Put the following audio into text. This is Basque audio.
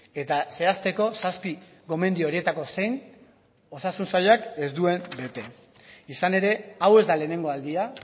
eta zehazteko zazpi gomendio horietako zein osasun sailak ez duen bete izan ere hau ez da lehenengo aldia